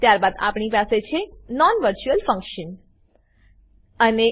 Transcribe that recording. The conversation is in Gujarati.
ત્યારબાદ આપણી પાસે છે non વર્ચ્યુઅલ ફંકશન બિન વર્ચ્યુઅલ ફંક્શન